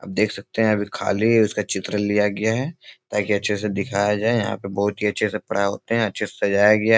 आप देख सकते हैं अगर खाली है उसका चित्र लिया गया है ताकि अच्छे से दिखाया जाये यहाँ पे बहुत ही अच्छे से पढ़ाई होते हैं अच्छे से सजाया गया है।